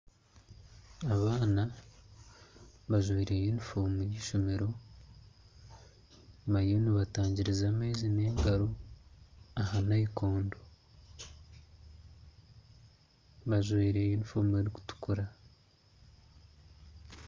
Abaana bajwire yunifomu y'ishomero bariyo nibatangiriza amaizi n'engaro aha nayikondo bajwire yunifomu erukutukura.